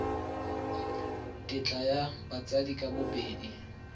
tetla ya batsadi ka bobedi